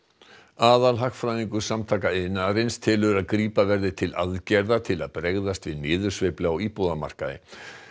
aðalhagfræðingur Samtaka iðnaðarins telur að grípa verði til aðgerða til að bregðast við niðursveiflu á íbúðamarkaði